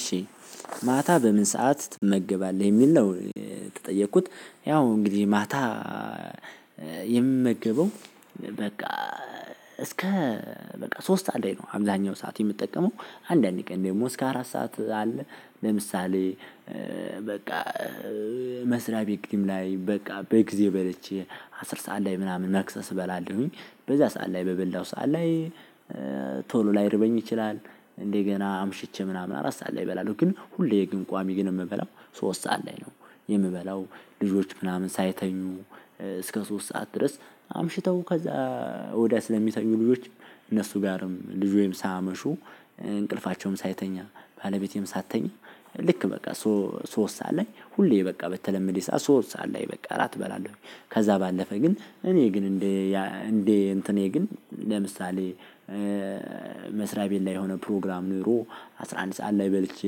እሺ ማታ በምን ሰዓት ትመገባለህ የሚል ነው የተጠየቁት ያው እንግዲህ ማታ የምመገበው በቃ እስከ በቃ ሶስት ሰዓት ላይ ነው። አብዛኛው ሰዓት የምጠቀመው አንዳንድ ቀን ደግሞ እስከ አራት ሰዓት አለ ለምሳሌ በቃ መስሪያ ቤት ግድምላይ በቃ በጊዜ በልቼ አስር ሰዓት ላይ ምናምን መክሰስ እበላለሁኝ በዛ ሰዓት ላይ በበላው ሰዓት ላይ ቶሎ ላይርበኝ ይችላል። እንደገና አምሽቼ ምናምን አራት ሰዓት ላይ እበላለሁ ግን ሁሌ ግን ቋሚ ግን የምበላው ሶስት ሰዓት ላይ ነው። የምበላው ልጆች ምናምን ሳይተኙ እስከ ሶስት ሰዓት ድረስ አምሽተው ከዛ ወዲያ ስለሚተኙ ልጆች እነሱ ጋርም ልጆችም ሳያመሹ እንቅልፋቸውም ሳይተኛ ባለቤቴም ሳትተኛ ልክ በቃ ሶ ሶስት ሰዓት ላይ ሁሌ በቃ በተለመደ ሰዓት ሶስት ሰዓት ላይ በቃ እራት እበላለሁኝ። ከዛ ባለፈ ግን እኔ ግን እንዴ እንዴ እንትኔ ግን ለምሳሌ መስሪያ ቤት ላይ የሆነ ፕሮግራም ኖሮ አስራ አንድ ሰዓት ላይ በልቼ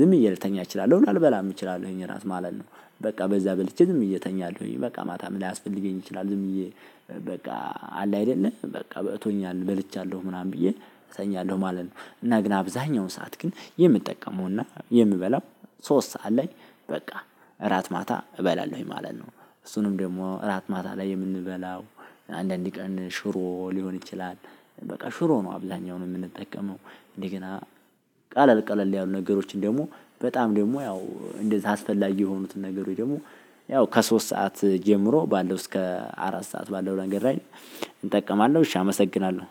ዝም ብዬ ልተኛ እችላለሁ ላልበላም እችላለሁኝ እራት ማለት ነው። በቃ በዛ በልቼ ዝም ብዬ እተኛለሁኝ በቃ ማታም ላያስፈልገኝ ይችላል ዝም ብዬ በቃ አለ አይደለም በቃ በቅቶኛል በልቻለሁ ምናምን ብዬ እተኛለሁ ማለት ነው። እና ግን አብዛኛው ሰዓት ግን የምጠቀመውና የምበላው ሶስት ሰዓት ላይ በቃ እራት ማታ እበላለሁኝ ማለት ነው። እሱንም ደግሞ እራት ማታ ላይ የምንበላው አንዳንድ ቀን ሽሮ ሊሆን ይችላል። በቃ ሽሮ ነው አብዛኛውን የምንጠቀመው እንደገና ቃለል ቃለል ያሉ ነገሮችን ደግሞ በጣም ደግሞ ያው እንደዛ አስፈላጊ የሆኑትን ነገር ወይ ደግሞ ያው ከሶስት ሰዓት ጀምሮ ባለው እስከ አራት ሰዓት ባለው ነገር ላይ። እጠቀማለሁ እሺ አመሰግናለሁ